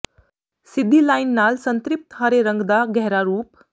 ਸਿੱਧੀ ਲਾਈਨ ਨਾਲ ਸੰਤ੍ਰਿਪਤ ਹਰੇ ਰੰਗ ਦਾ ਗਹਿਰਾ ਰੂਪ